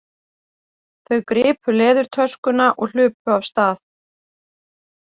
Þau gripu leðurtöskuna og hlupu af stað.